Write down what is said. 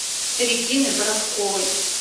регины боровковой